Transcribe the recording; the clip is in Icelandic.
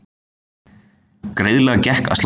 Greiðlega gekk að slökkva hann